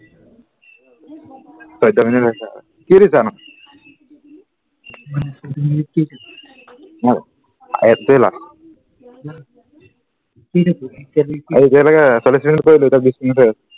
চৈধ্য় মিনিট হৈছে আৰু কি দিছা নু এতিয়া লেকে চল্লিছ মিনিট কৰিলো এতিয়া বিছ মিনিট হৈ আছে চৈধ্য় হৈছে আৰু